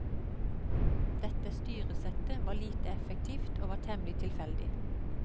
Dette styresettet var lite effektivt og var temmelig tilfeldig.